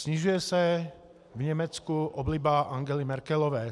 Snižuje se v Německu obliba Angely Merkelové.